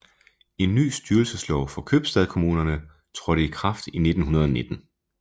En ny styrelseslov for købstadkommunerne trådte i kraft i 1919